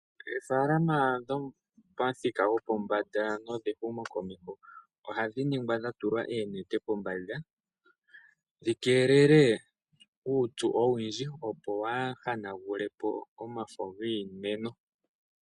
Oofalama dhopamuthika gopombanda nedhehumo komeho ohadhi ningwa dha tulwa oonete pombanda dhi keelele uupyu owundji, opo waahanagule po omafo giimeno.